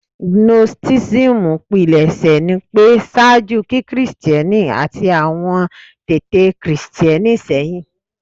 Gnosticism pilẹṣẹ ni pẹ ṣaaju ki-Kristiẹni ati awọn tete Christian sehin